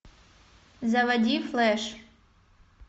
заводи флэш